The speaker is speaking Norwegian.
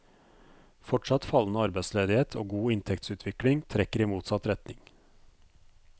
Fortsatt fallende arbeidsledighet og god inntektsutvikling trekker i motsatt retning.